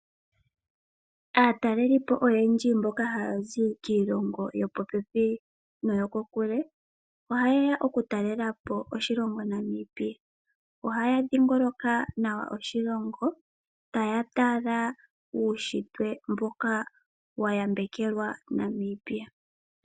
Aatalelipo oyendji mboka haya zi piilongo yopopepi nokokule ohayeya oku talelapo oshilongo Namibia. Ohaya dhiingoloka nawa oshilongo taya tala uunshitwe mboka wayambekelwa Namibia.